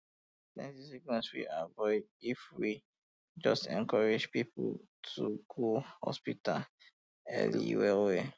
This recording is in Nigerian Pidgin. plenty sickness fit avoid if we just encourage um people to go hospital um early well well